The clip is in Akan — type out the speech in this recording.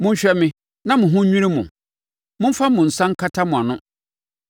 Monhwɛ me, na mo ho nnwiri mo; momfa mo nsa nkata mo ano.